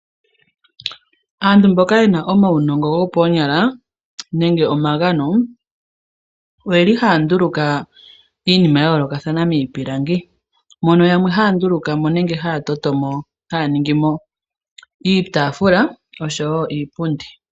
Aantu mboka ye na uunongo nenge omagano moonyala ohaya nduluka iinima ya yoolokathana miipilangi mono yamwe haya nduluka mo nenge haya ningi mo iitaafula noshowo iipundi.